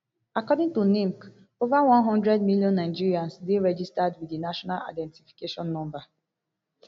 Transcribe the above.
according to nimc ova one hundred million nigerians dey registered wit di national identification number